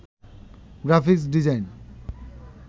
graphics design